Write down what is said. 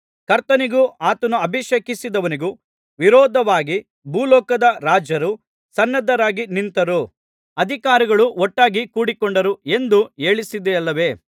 ಕರ್ತನಿಗೂ ಆತನು ಅಭಿಷೇಕಿಸಿದವನಿಗೂ ವಿರೋಧವಾಗಿ ಭೂಲೋಕದ ರಾಜರು ಸನ್ನದ್ಧರಾಗಿ ನಿಂತರು ಅಧಿಕಾರಿಗಳು ಒಟ್ಟಾಗಿ ಕೂಡಿಕೊಂಡರು ಎಂದು ಹೇಳಿಸಿದಿಯಲ್ಲವೇ